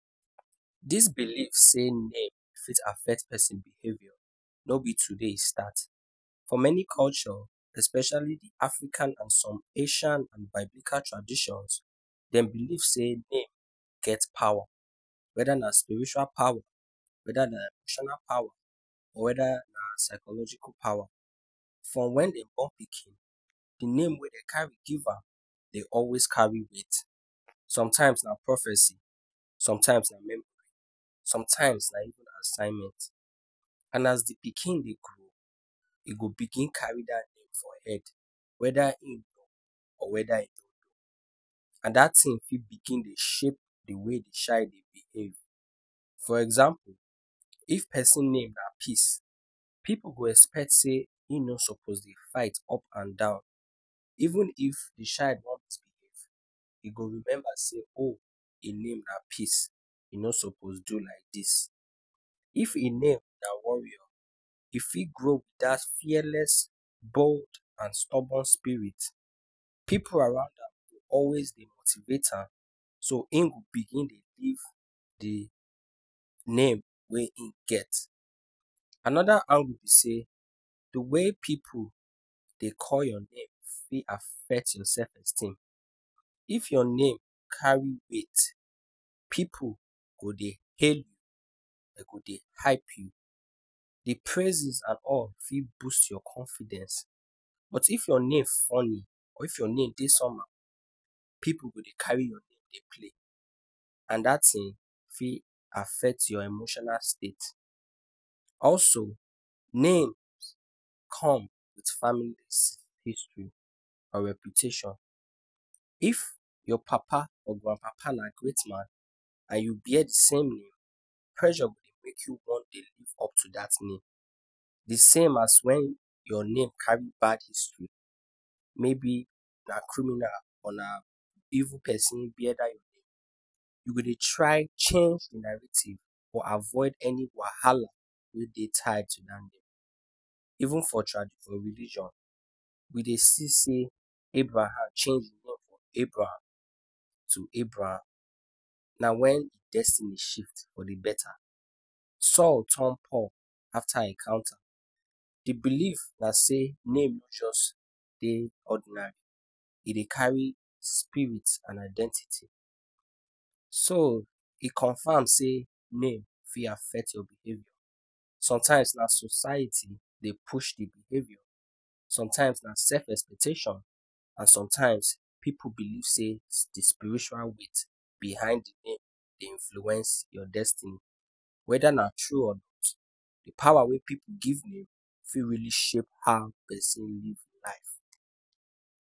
Dis believe say name fit affect persin behavior no b today e start, for many culture especially d African, Asian and biblical tradition dem believe sey name get powa, weda na spiritual powa, weda na traditional powa or na psychological powa, from wen dey born pikin d name wy dem carry give am always carry weight, sometimes na prophecy, sometimes na, sometimes na even assignment and as d pikin dey grow he go begin carry dat thing for head, weda hin or weda hin and dat thing fit dey shape d way d child dey behave, for example if persin na peace pipu go dey expect sey hin no suppose dey fight up and down, even if child wan misbehave hin go remember sey hin name na peace hin no suppose do like dis, if hin na warriror hin fit grow with dat bold and fearless bold and stubborn spirit pipu around am go always dey motivate am so hin go begin dey live d name wey hin get, anoda thing angle b sey d way pipu dey call your name fit affect your self esteem, if your name carry weight pipu go dey hail u dey hype u, d praises and all fit boost your confidence but if your name funny or your name dey somehow pipu go dey carry your name dey play and dat thing fit affect your emotional state, also name come with family history or reputation, if your papa or grand papa na great man and u bear d same name pressure go dey make u wan dey live up to dat name, d same as en your name carry bad history mayb na evil persin or criminal bear da tur name u go dey try change d narrative or avoid any wahala wey dey tied to dat name, even for religion we dey see sey Abraham change hin name from Abraham to abram na wen hin destiny shift for d beta, saul turn paul for d beta. D believe na sey name no jus dey ordinary e dey carry spirit and identity, so e confam sey name fit affect your behavior sometimes na society dey push pipu, sometimes na self expectation and sometimes pipu believe sey d spiritual weight behid your name dey influence your destiny, weda na tru or not d powa wey pipu give name fit really shape how persin live life.